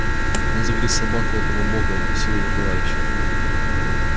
он загрыз собаку этого бога укусил его товарища